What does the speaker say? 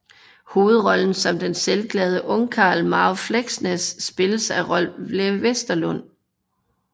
Hovedrollen som den selvglade ungkarl Marve Fleksnes spilles af Rolv Wesenlund